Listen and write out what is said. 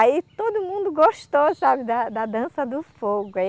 Aí todo mundo gostou, sabe, da da Dança do Fogo.